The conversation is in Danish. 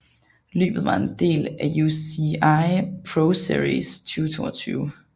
Løbet var en del af UCI ProSeries 2022